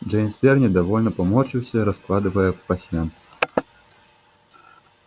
джеймс твер недовольно поморщился раскладывая пасьянс